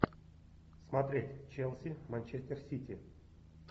смотреть челси манчестер сити